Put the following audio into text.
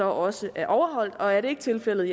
også er overholdt og er det ikke tilfældet